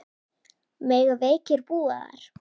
Mega veikir búa þar?